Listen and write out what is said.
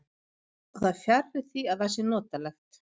Og það er fjarri því að það sé notalegt.